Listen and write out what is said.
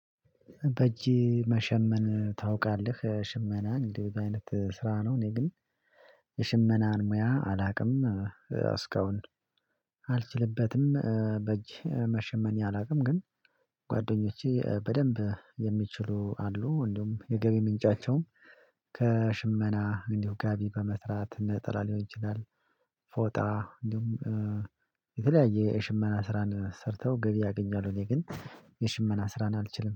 በእጄ መሸመን ታውቃለህ ሽመናን እንደዚህ በአይነት ስራ ነው። እኔ ግን የሽመናን ሙያ አላውቅም እስካሁን አልችልበትም። በእጅ መሸመኛ አላውቅም። ግን ጓደኞቼ በደንብ የሚችሉ አሉ እንደውም የገቢ ምንጫቸውም። ከሽመና እንዲሁ ጋቢ በመስራት ነጠላ ሊሆን ይችላል። ፎጣ እንዲሁም የተለያየ የሽመና ስራን ሰርተው ገቢ ያገኛሉ። እኔ ግን የሽመና ስራን አልችልም